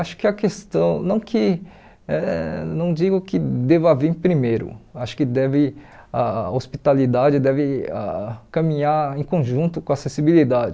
Acho que a questão, não que eh não digo que deva vir primeiro, acho que deve a hospitalidade deve ah caminhar em conjunto com a acessibilidade.